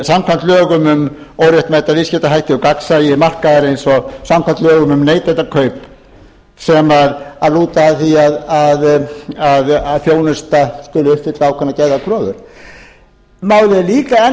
samkvæmt lögum um óréttmæta viðskiptahætti gagnsæi markaðarins og samkvæmt lögum um neytendakaup sem lúta að því að þjónusta skuli uppfylla ákveðnar gerðar kröfur málið er líka enn